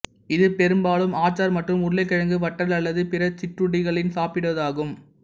இது பெரும்பாலும் ஆச்சார் மற்றும் உருளைகிழங்கு வற்றல் அல்லது பிற சிற்றுண்டிகளுடன் சாப்பிடுவதாகும்